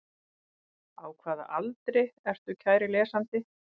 Á hvaða aldri ertu kæri lesandi?